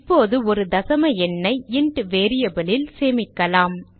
இப்போது ஒரு தசம எண்ணை இன்ட் variable ல் சேமிக்கலாம்